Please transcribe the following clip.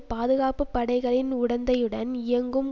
பாதுகாப்பு படைகளின் உடந்தையுடன் இயங்கும்